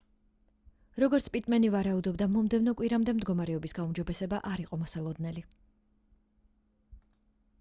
როგორც პიტმენი ვარაუდობდა მომდევნო კვირამდე მდგომარეობის გაუმჯობესება არ იყო მოსალოდნელი